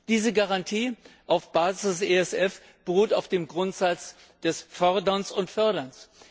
Diese Garantie auf Basis des ESF beruht auf dem Grundsatz des Forderns und Förderns.